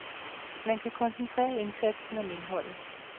Man kan koncentrere indsatsen om indholdet.